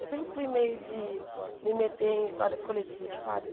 Eu sempre fui meio de me meter em histórias coletivas, sabe?